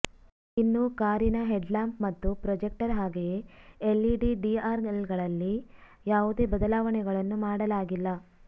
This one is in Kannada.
ಇನ್ನು ಕಾರಿನ ಹೆಡ್ಲ್ಯಾಂಪ್ ಮತ್ತು ಪ್ರೊಜೆಕ್ಟರ್ ಹಾಗೆಯೇ ಎಲ್ಇಡಿ ಡಿಆರ್ಎಲ್ಗಳಲ್ಲಿ ಯಾವುದೇ ಬದಲಾವಣೆಗಳನ್ನು ಮಾಡಲಾಗಿಲ್ಲ